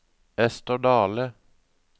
Esther Dahle